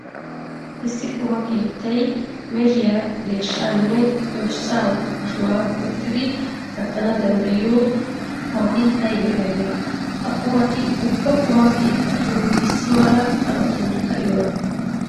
Issi quma keettay mehiya, deeshshaaanne dorssaa ashuwa go"ettidi kattana danddayiyo qumati aybee aybee? Ha qumati ubba quma keettatun issi mala hanotan ka'iyonaa?